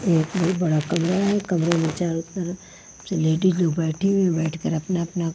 ये ये बड़ा कमरा है कमरे में चारों तरफ से लेडीज लोग बैठी हुई है ओ बैठकर अपना अपना --